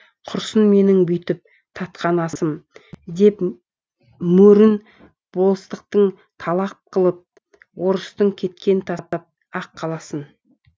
құрысын менің бүйтіп татқан асым деп мөрін болыстықтың талақ қылып орыстың кеткен тастап ақ қаласын